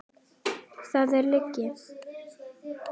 Það er lygi!